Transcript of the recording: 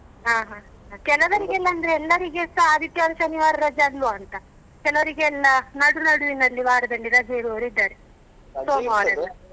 ಹಾ ಹಾ ಹಾ ಕೆಲವರಿಗೆ ಅಂದ್ರೆ ಎಲ್ಲರಿಗೆಸ ಆದಿತ್ಯವಾರ ಶನಿವಾರ ರಜೆ ಅಲ್ವಾ ಅಂತ ಕೆಲವರಿಗೆ ಎಲ್ಲ ನಡು ನಡುವಿನಲ್ಲಿ ವಾರದಲ್ಲಿ ರಜೆ ಇರುವವರು ಇದ್ದಾರೆ ಸೋಮವಾರ ಎಲ್ಲ.